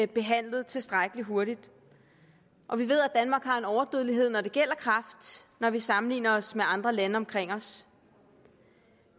behandlet tilstrækkelig hurtigt og vi ved at danmark har en overdødelighed når det gælder kræft når vi sammenligner os med andre lande omkring os